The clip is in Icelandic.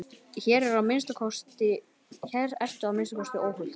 Hér ertu að minnsta kosti óhult.